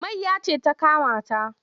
Mayya ce ta kama ta.